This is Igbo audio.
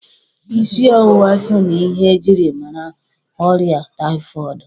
isiọwụwa so na ihe e jiri mara ọrịa taifọọdụ.